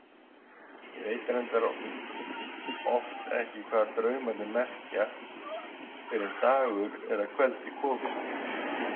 Ég veit reyndar oft ekki hvað draumarnir merkja fyrr en dagur er að kveldi kominn.